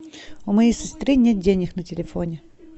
у моей сестры нет денег на телефоне